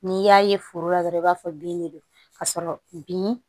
N'i y'a ye foro la dɔrɔn i b'a fɔ bin de don ka sɔrɔ bin